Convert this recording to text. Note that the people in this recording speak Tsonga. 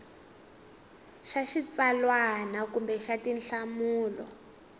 xa xitsalwana kumbe xa tinhlamulo